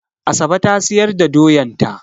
Asabe ta siyar da doyan ta.